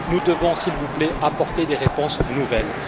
Nous devons, s'il vous plaît, apporter des réponses nouvelles.